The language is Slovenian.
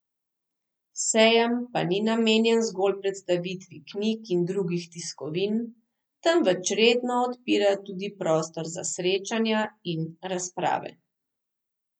Sejem pa ni namenjen zgolj predstavitvi knjig in drugih tiskovin, temveč redno odpira tudi prostor za srečanja in razprave.